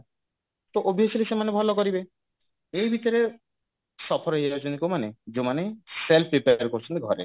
ତ obviously ସେମାନେ ଭଲ କରିବେ ଏଇ ଭିତରେ suffer ହେଇଯାଉଛନ୍ତି କଉମାନେ ଯଉମାନେ self prepare କରୁଛନ୍ତି ଘରେ